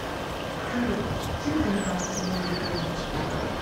салют чем занимается луи виттон